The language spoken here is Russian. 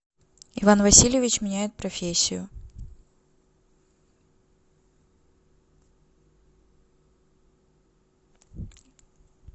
иван васильевич меняет профессию